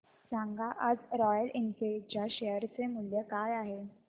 सांगा आज Royal Enfield च्या शेअर चे मूल्य काय आहे